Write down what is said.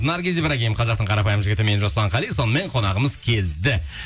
наргиз ибрагим қазақтың қарапайым жігіті мен жасұлан қали сонымен қонағымыз келді